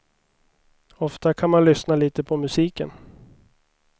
Ofta kan man lyssna lite på musiken.